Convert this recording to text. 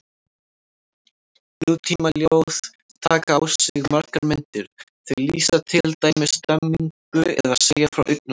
Nútímaljóð taka á sig margar myndir, þau lýsa til dæmis stemningu eða segja frá augnabliki.